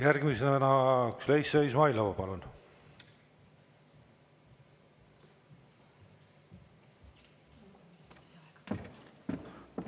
Järgmisena Züleyxa Izmailova, palun!